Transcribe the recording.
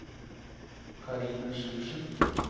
Karine Sjursen